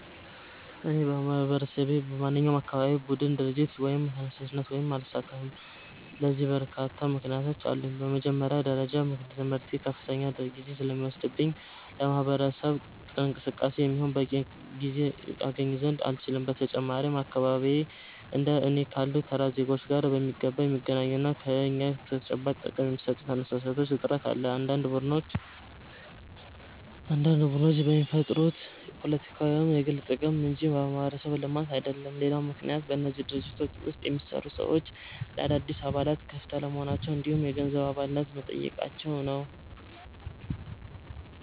እኔ በማህበረሰቤ ውስጥ በማንኛውም የአካባቢ ቡድን፣ ድርጅት ወይም ተነሳሽነት ውስጥ አልሳተፍም። ለዚህ በርካታ ምክንያቶች አሉኝ። በመጀመሪያ ደረጃ ትምህርቴ ከፍተኛ ጊዜ ስለሚወስድብኝ ለማህበረሰብ እንቅስቃሴ የሚሆን በቂ ጊዜ አገኝ ዘንድ አልችልም። በተጨማሪም በአካባቢዬ እንደ እኔ ካሉ ተራ ዜጎች ጋር በሚገባ የሚገናኙና ለእኛ ተጨባጭ ጥቅም የሚሰጡ ተነሳሽነቶች እጥረት አለ፤ አንዳንድ ቡድኖች የሚፈጠሩት ለፖለቲካ ወይም ለግል ጥቅም እንጂ ለማህበረሰብ ልማት አይደለም። ሌላው ምክንያት በእነዚህ ድርጅቶች ውስጥ የሚሰሩ ሰዎች ለአዳዲስ አባላት ክፍት አለመሆናቸው እንዲሁም የገንዘብ አባልነት መጠየቃቸው ነው።